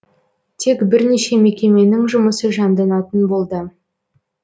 тек бірнеше мекеменің жұмысы жанданатын болды